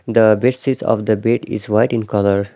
The bed sheet of the bed is white in colour.